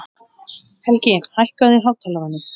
Helgi, hækkaðu í hátalaranum.